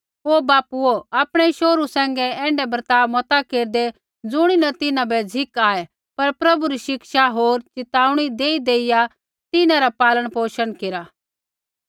ओ बापूओ आपणै शोहरु सैंघै ऐण्ढा बर्ताव मता केरदै ज़ुणीन तिन्हां बै झ़िक आऐ पर प्रभु री शिक्षा होर च़िताऊणी देईदेइया तिन्हां रा पालनपोषण केरा